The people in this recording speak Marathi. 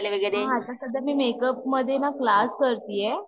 हा आता सध्या, मी मेकअप मध्ये ना क्लास करतेय